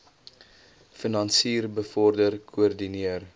finansier bevorder koördineer